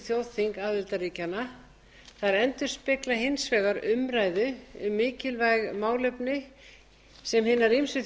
þjóðþing aðildarríkjanna þær endurspegla hins vegar umræðu um mikilvæg málefni sem hinar ýmsu